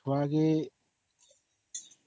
ଛୁଆ କେ